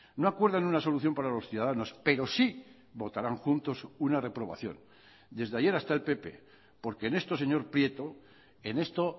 no acuerdan una solución para los ciudadanos pero sí votarán juntos una reprobación desde ayer hasta el pp porque en esto señor prieto en esto